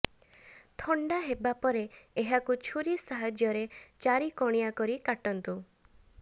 ଥଣ୍ଡା ହେବା ପରେ ଏହାକୁ ଛୁରୀ ସାହାଯ୍ୟରେ ଚାରିକଣିଆ କରି କାଟନ୍ତୁ